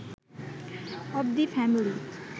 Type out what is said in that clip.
of the family